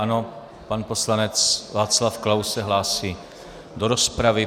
Ano, pan poslanec Václav Klaus se hlásí do rozpravy.